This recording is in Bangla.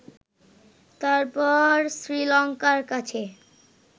তারপর শ্রীলঙ্কার কাছে